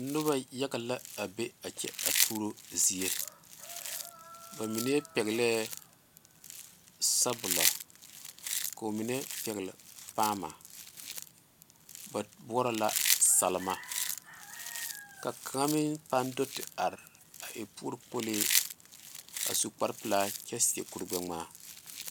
Noba yaga la a be a kyɛ a tuuro zie ba mine peglee sabulɔ ko'o mine pegle paama ba boɔrɔ la selma ka kaŋa meŋ paŋ do te are a e puori kpolee a su kpare pelaa kyɛ seɛ kur gbe ŋmaa.